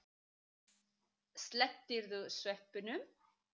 Slepptirðu sveppunum?